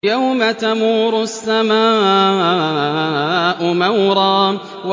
يَوْمَ تَمُورُ السَّمَاءُ مَوْرًا